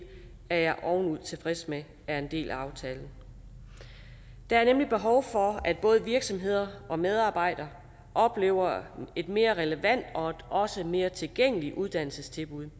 er jeg ovenud tilfreds med er en del af aftalen der er nemlig behov for at både virksomheder og medarbejdere oplever et mere relevant og også mere tilgængeligt uddannelsestilbud